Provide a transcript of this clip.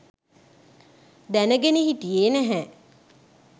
දැනගෙන හිටියේ නැහැ